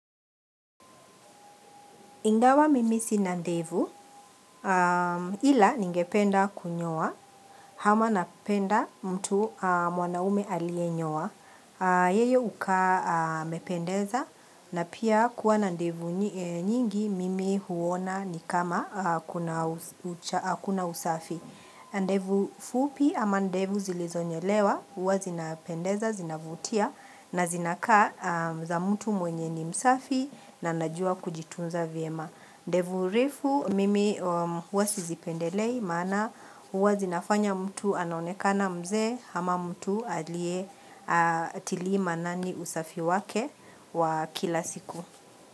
Ingawa mimi sina ndevu ila ningependa kunyoa hama napenda mtu mwanaume aliye nyowa. Yeye hukaa amependeza na pia kuwa nandevu nyingi mimi huona ni kama hakuna usafi. Ndevu fupi ama ndevu zilizonyolewa huwa zinapendeza, zinavutia na zinakaa za mtu mwenye ni msafi na najua kujitunza vyema. Ndevu refu mimi huwa sizipendelei maana huwa zinafanya mtu anaonekana mzee hama mtu aliye hatilii manani usafi wake wa kila siku.